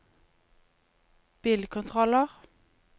bilkontroller